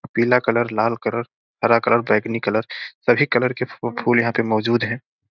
पीला कलर लाल कलर हरा कलर बैगनी कलर सभी कलर के फू फूल यहाँ पे मौजूद हैं|